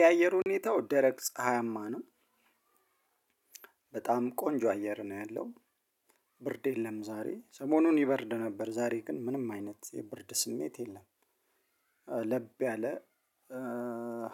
የአየር ሁኔታው ደረቅ ፀሀያማ ነው። በጣም ቆንጆ አየር ነው ያለው። ብርድ የለም ዛሬ ሰሞኑን ይበርድ ነበር ዛሬ ግን ምንም አይነት የብርድ ስሜት የለም። ለብ ያለ